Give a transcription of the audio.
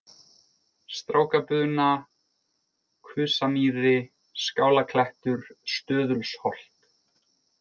Strákabuna, Kusamýri, Skálaklettur, Stöðulsholt